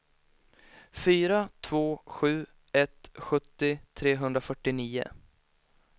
fyra två sju ett sjuttio trehundrafyrtionio